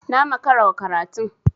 Na makara wa karatun.